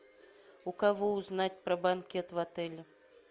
у кого узнать про банкет в отеле